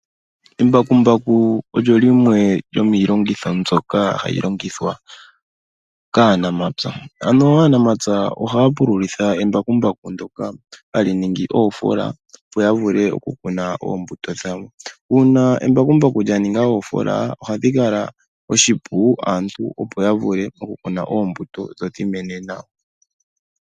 Embakumbaku olyo lyimwe lyomiilongitho mbyoka hayi longithwa kaanamapya. Ano aanamapya ohaya pululitha embakumbaku ndoka hali ningi oofoola opo yavule okukuna oombuto dhawo. Uuna embakumbaku lyaninga oofoola, ohadhi kala oshipu aantu opo yavule okukuna oombuto dhodhimene nawa.